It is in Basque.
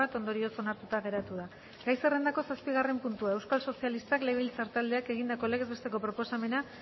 ondorioz onartuta geratu da gai zerrendako zazpigarren puntua euskal sozialistak legebiltzar taldeak egindako legez besteko proposamena